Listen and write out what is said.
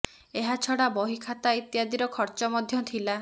ଏହା ଛଡ଼ା ବହି ଖାତା ଇତ୍ୟାଦିର ଖର୍ଚ୍ଚ ମଧ୍ୟ ଥିଲା